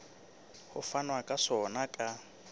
ho fanwa ka sona ka